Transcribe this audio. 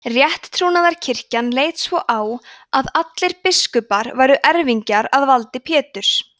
rétttrúnaðarkirkjan leit svo á að allir biskupar væru erfingjar að valdi péturs